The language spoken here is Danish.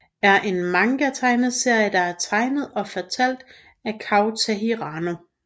er en manga tegneserie der er tegnet og fortalt af Kouta Hirano